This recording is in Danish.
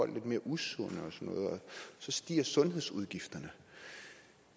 lidt mere usunde og så stiger sundhedsudgifterne